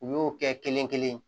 U y'o kɛ kelen kelen